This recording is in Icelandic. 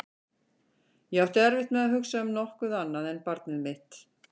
Ég átti erfitt með að hugsa um nokkuð annað en barnið mitt.